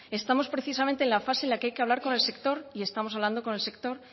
estamos precisamente en la fase en la que hay que hablar con el sector y estamos hablando con el sector